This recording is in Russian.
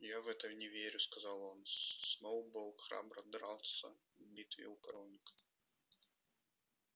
я в это не верю сказал он сноуболл храбро дрался в битве у коровника